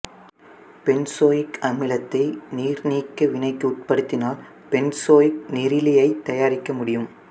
benzoic அமிலத்தை நீர்நீக்க வினைக்கு உட்படுத்தினால் பென்சோயிக் நீரிலியைத் தயாரிக்க முடியும்